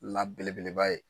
la belebeleba ye.